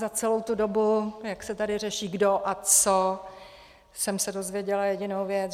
Za celou tu dobu, jak se tady řeší kdo a co, jsem se dozvěděla jedinou věc.